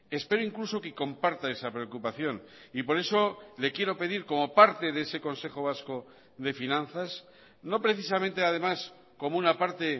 espero incluso que comparta esa preocupación y por eso le quiero pedir como parte de ese consejo vasco de finanzas no precisamente además como una parte